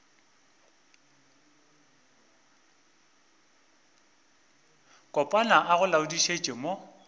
kopana a go laodišetša mo